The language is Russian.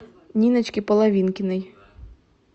ниночке половинкиной